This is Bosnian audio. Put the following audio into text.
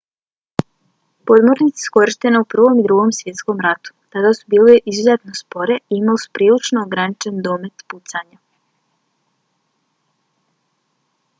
podmornice su korištene u prvom i drugom svjetskom ratu. tada su bile izuzetno spore i imale su prilično ograničen domet pucanja